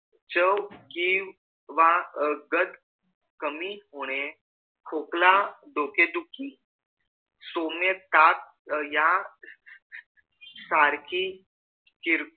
चव केंव्हा कमी होणे खोकला डोके दुखी सोने ताक यासारखी किरकोळ